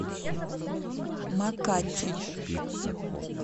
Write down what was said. макати